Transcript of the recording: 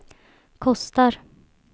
kostar